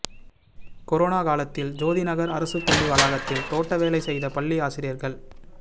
corona காலத்தில் ஜோதி நகர் அரசுப் பள்ளி வளாகத்தில் தோட்டவேலை செய்த பள்ளி ஆசிரியர்கள்